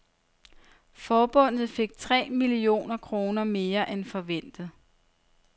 Forbundet fik tre millioner kroner mere end forventet.